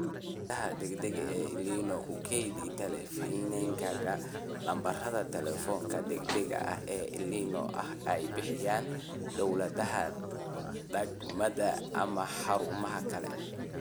Xidhiidhada degdega ah ee El Niño Ku keydi teleefankaaga lambarada telefoonka degdega ah ee El Niño ee ay bixiyaan dawladaha degmada ama xarumaha kale.